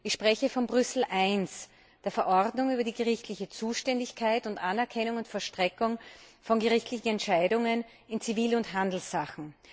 Ich spreche von Brüssel I, der Verordnung über die gerichtliche Zuständigkeit und die Anerkennung und Vollstreckung von Entscheidungen in Zivil und Handelssachen.